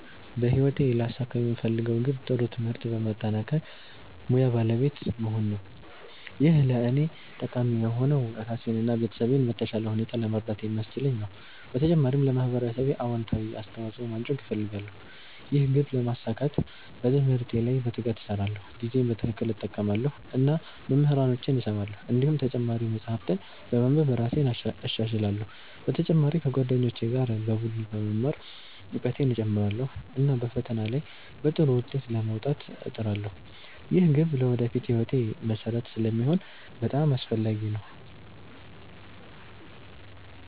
በህይወቴ ሊያሳኩት የምፈልገው ግብ ጥሩ ትምህርት በማጠናቀቅ ሙያ ባለቤት መሆን ነው። ይህ ለእኔ ጠቃሚ የሆነው ራሴን እና ቤተሰቤን በተሻለ ሁኔታ ለመርዳት ስለሚያስችለኝ ነው። በተጨማሪም ለማህበረሰቤ አዎንታዊ አስተዋፅኦ ማድረግ እፈልጋለሁ። ይህን ግብ ለማሳካት በትምህርቴ ላይ በትጋት እሰራለሁ፣ ጊዜዬን በትክክል እጠቀማለሁ እና መምህራኖቼን እሰማለሁ። እንዲሁም ተጨማሪ መጻሕፍት በማንበብ እራሴን እሻሻላለሁ። በተጨማሪ ከጓደኞቼ ጋር በቡድን በመማር እውቀቴን እጨምራለሁ፣ እና በፈተና ላይ በጥሩ ውጤት ለመውጣት እጥራለሁ። ይህ ግብ ለወደፊት ሕይወቴ መሠረት ስለሚሆን በጣም አስፈላጊ ነው።